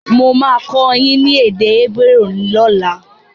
Mo máa kọ́ ẹ ní èdè Hébérù lóla